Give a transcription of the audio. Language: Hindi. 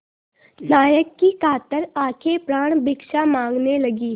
नायक की कातर आँखें प्राणभिक्षा माँगने लगीं